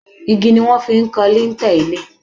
Igi ni wọ́n fi ń kan lintel ilé